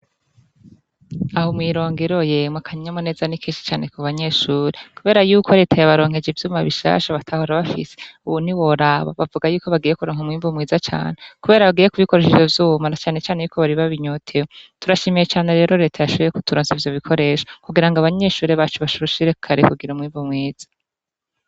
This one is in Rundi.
Aho mwi Rongero yemwe, akanyamuneza ni kenshi cane ku banyeshure kubera yuko reta yabaronkeje ivyuma bishasha batahora bafise, ubu ntiworaba, bavuga yuko bagiye kuronka umwimbu mwiza cane kubera yuko bagiye kubikoresha ivyo vyuma na cane cane ko bari babinyotewe, turashimiye reta yashoboye kuturonsa ivyo bikoresho kugira abanyeshure bacu basishikare kugira umwimbu mwiza.